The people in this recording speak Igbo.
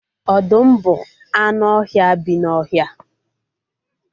Ọdụm bụ anụ ọhịa bi n'ọhịa